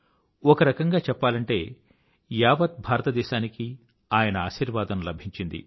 ఒకరకంగా చెప్పాలంటే యావత్ భారత దేశానికీ ఆయన ఆశీర్వాదం లభించింది